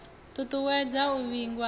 ṱu ṱuwedza u vhigwa ha